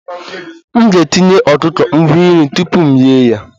M ga-etinye ọkụkọ ngwa nri tupu m eghe ya